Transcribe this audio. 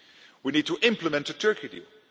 We need to implement the Turkey